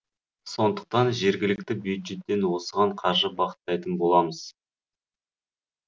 сондықтан жергілікті бюджеттен осыған қаржы бағыттайтын боламыз